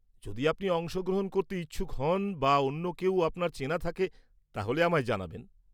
যদি আপনি অংশগ্রহণ করতে ইচ্ছুক হন বা অন্য কেউ আপনার চেনা থাকে, তাহলে আমায় জানাবেন।